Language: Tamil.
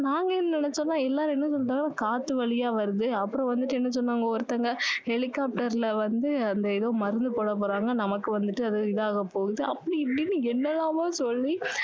நாங்க என்ன நினைச்சோம்னா எல்லாரும் என்ன சொல்லுறாங்க காத்து வழியா வருது அப்பறம் வந்துட்டு என்ன சொன்னாங்க ஒருத்தங்க helicopter ல வந்து அந்த ஏதோ மருந்து போட போறாங்க நமக்கு வந்துட்டு அது இதாக போகுது அப்படி இப்படின்னு என்ன எல்லாமோ சொல்லி